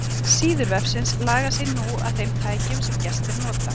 Síður vefsins laga sig nú að þeim tækjum sem gestir nota.